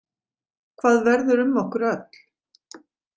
Hvað verður um okkur öll?